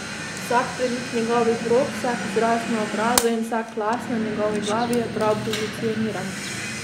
Vsak premik njegovih rok, vsak izraz na obrazu in vsak las na njegovi glavi je prav pozicioniran.